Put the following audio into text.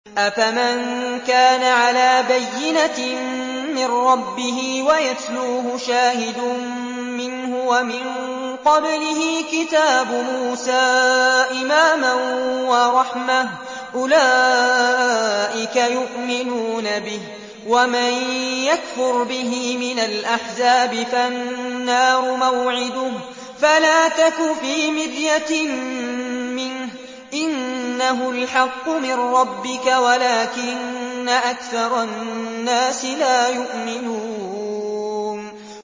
أَفَمَن كَانَ عَلَىٰ بَيِّنَةٍ مِّن رَّبِّهِ وَيَتْلُوهُ شَاهِدٌ مِّنْهُ وَمِن قَبْلِهِ كِتَابُ مُوسَىٰ إِمَامًا وَرَحْمَةً ۚ أُولَٰئِكَ يُؤْمِنُونَ بِهِ ۚ وَمَن يَكْفُرْ بِهِ مِنَ الْأَحْزَابِ فَالنَّارُ مَوْعِدُهُ ۚ فَلَا تَكُ فِي مِرْيَةٍ مِّنْهُ ۚ إِنَّهُ الْحَقُّ مِن رَّبِّكَ وَلَٰكِنَّ أَكْثَرَ النَّاسِ لَا يُؤْمِنُونَ